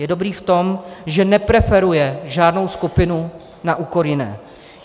Je dobrý v tom, že nepreferuje žádnou skupiny na úkor jiné.